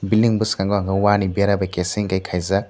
bilding ni boskango ang khe wani bera bai keseng khe kaijak.